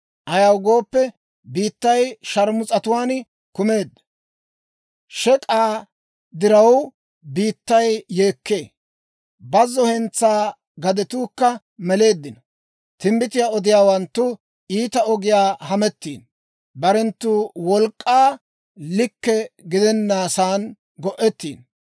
Ayaw gooppe, biittay sharmus'atuwaan kumeedda. Shek'k'aa diraw, biittay yeekkee; bazzo hentsaa gadetuukka meleeddino. Timbbitiyaa odiyaawanttu iita ogiyaa hamettiino; barenttu wolk'k'aakka likke gidennasan go'ettiino.